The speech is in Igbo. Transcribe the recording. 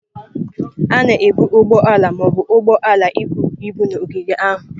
A na-ebu ụgbọ ala ma ọ bụ ụgbọ ala ibu ibu na ogige ahụ.